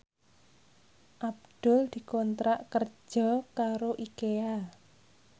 Abdul dikontrak kerja karo Ikea